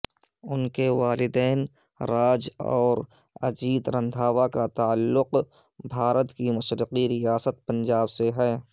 انکےوالدین راج اوراجیت رندھاواکاتعلق بھارت کی مشرقی ریاست پنجاب سےہے